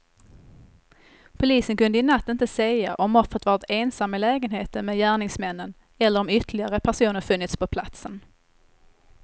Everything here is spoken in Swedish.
Polisen kunde i natt inte säga om offret varit ensam i lägenheten med gärningsmännen eller om ytterligare personer funnits på platsen.